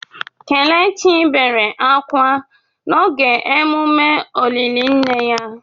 Kelechi bere akwa akwa n’oge emume olili nne ya.